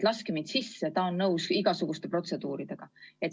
"Laske mind sisse, ma olen on nõus igasuguste protseduuridega.